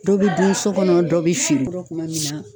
Dɔ bɛ dun so kɔnɔ dɔ bɛ fini dɔ kuma min na.